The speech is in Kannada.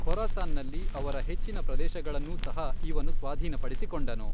ಖೊರಾಸಾನ್ನಲ್ಲಿ ಅವರ ಹೆಚ್ಚಿನ ಪ್ರದೇಶಗಳನ್ನೂ ಸಹ ಇವನು ಸ್ವಾಧೀನಪಡಿಸಿಕೊಂಡನು.